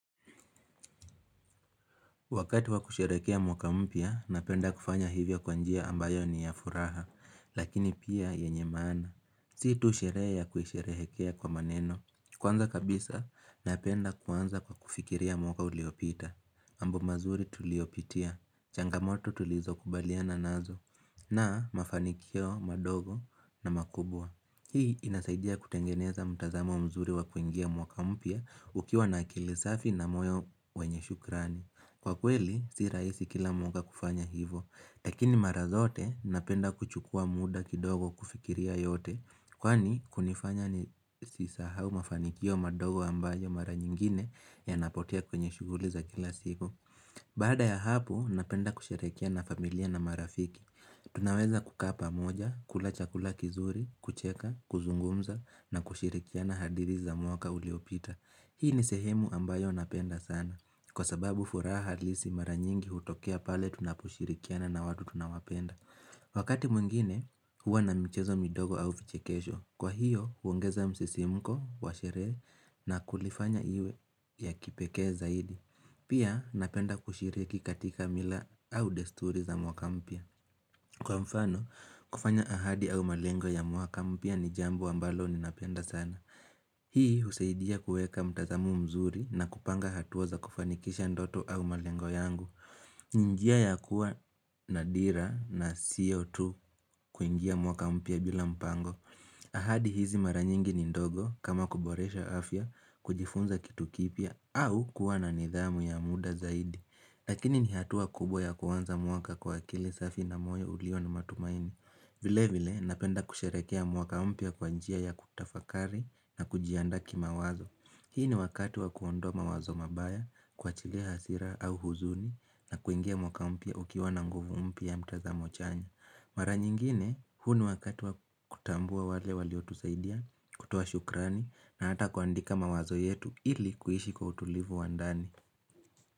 Wakati wa kusherehekea mwaka mpya, napenda kufanya hivyo kwa njia ambayo ni ya furaha, lakini pia yenye maana. Si tu sherehe ya kuisherehekea kwa maneno. Kwanza kabisa, napenda kuanza kwa kufikiria mwaka uliopita. Mambo mazuri tuliyopitia, changamoto tulizo kubaliana nazo, na mafanikio madogo na makubwa. Hii inasaidia kutengeneza mtazamo mzuri wa kuingia mwaka mpya ukiwa na akili safi na moyo wenye shukrani. Kwa kweli si rahisi kila mwaka kufanya hivo, lakini mara zote napenda kuchukua muda kidogo kufikiria yote kwani kunifanya nisisahau mafanikio madogo ambayo mara nyingine yanapotea kwenye shughuli za kila siku Baada ya hapo napenda kusherehekea na familia na marafiki Tunaweza kukaa pamoja, kula chakula kizuri, kucheka, kuzungumza na kushirikia hadidhi za mwaka uliopita. Hii ni sehemu ambayo napenda sana kwa sababu furaha halisi mara nyingi hutokea pale tunaposhirikiana na watu tunawapenda Wakati mwingine huwa na michezo midogo au vichekesho. Kwa hiyo huongeza msisimko wa sherehe na kulifanya iwe ya kipekee zaidi Pia napenda kushiriki katika mila au desturi za mwaka mpya. Kwa mfano kufanya ahadi au malengo ya mwaka mpya ni jambo ambalo ninapenda sana Hii husaidia kuweka mtazamo mzuri na kupanga hatua za kufanikisha ndoto au malengo yangu ni njia ya kuwa na dira na sio tu kuingia mwaka mpya bila mpango ahadi hizi mara nyingi ni ndogo kama kuboresha afya, kujifunza kitu kipya au kuwa na nidhamu ya muda zaidi. Lakini ni hatua kubwa ya kuanza mwaka kwa kile safi na moyo ulio na matumaini vile vile napenda kusherekea mwaka mpya kwa njia ya kutafakari na kujianda kimawazo Hii ni wakati wa kuondoa mawazo mabaya kwa chile hasira au huzuni na kuingia mwaka mpya ukiwa na nguvu mpya mtazamo chanya. Mara nyingine huu ni wakati wa kutambua wale waliotusaidia kutoa shukrani na hata kuandika mawazo yetu ili kuishi kwa utulivu wa ndani.